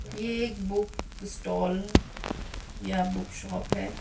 ये एक book stall या बुक शॉप है।